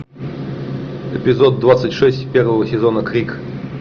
эпизод двадцать шесть первого сезона крик